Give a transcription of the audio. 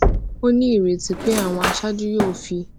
ó ní ìrètí pé àwọn aṣáájú yóò fi